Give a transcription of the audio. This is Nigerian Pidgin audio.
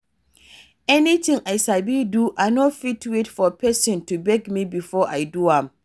Anything I sabi do, I no fit wait for pesin to beg me before I do am.